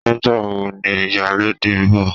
Nígbàwo ni ìyálóde ń bọ̀